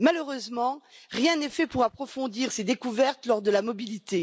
Malheureusement, rien n'est fait pour approfondir ces découvertes lors de la mobilité.